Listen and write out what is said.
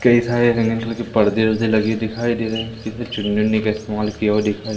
कई सारे रंगीन कलर के पर्दे वर्दे लगे दिखाई दे रहे हैं चुन्नी उन्नी का इस्तेमाल किया हुआ दिखाई--